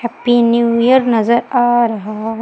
Happy new year नजर आ रहा है।